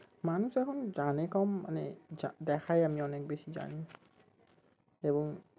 মানুষ এখন জানে কম মানে দেখায় আমি অনেক বেশি জানি এবং